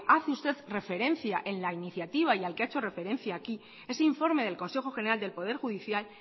hace usted referencia en la iniciativa y al que ha hecho referencia aquí ese informe del consejo general del poder judicial